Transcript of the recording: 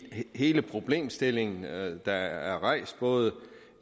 hele problemstillingen der er rejst både